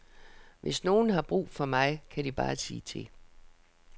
Hvis nogen har brug for mig, kan de bare sige til.